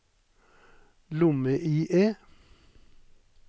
lomme-IE